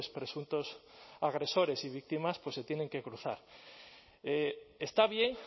presuntos agresores y víctimas se tienen que cruzar está bien